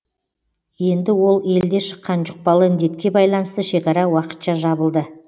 енді ол елде шыққан жұқпалы індетке байланысты шекара уақытша жабылды